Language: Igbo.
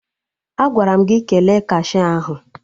Agwara m gị kele kashia ahụ!